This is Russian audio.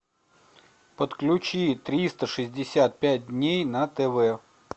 подключи триста шестьдесят пять дней на тв